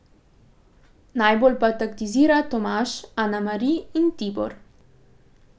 Najbolj pa taktizira Tomaž, Ana Mari in Tibor.